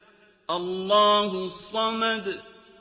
اللَّهُ الصَّمَدُ